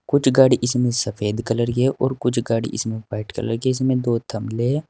कुछ गाड़ी इसमें सफेद कलर की है और कुछ गाड़ी इसमें व्हाइट कलर की है। इसमें दो है।